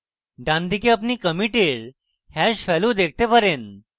ডানদিকে আপনি কমিটের hash value দেখতে পারেন